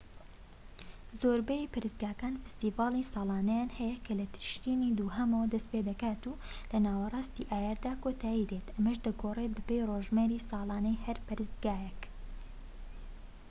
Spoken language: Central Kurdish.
زۆربەی پەرستگاکان فیستیڤاڵی ساڵانەیان هەیە کە لە تشرینی دووهەمەوە دەست پێدەکات و لە ناوەراستی ئایاردا کۆتایی دێت ئەمەش دەگۆڕێت بەپێی ڕۆژمێری ساڵانەی هەر پەرستگایەک